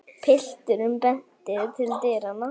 Pilturinn benti til dyranna.